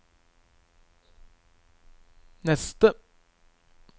neste